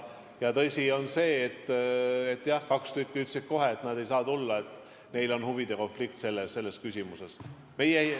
Ja tõsi on see, et jah, kaks tükki ütlesid kohe, et nad ei saa osaleda, neil on selles küsimuses huvide konflikt.